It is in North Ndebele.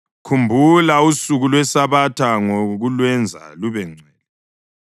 Khumbula usuku lweSabatha ngokulwenza lubengcwele.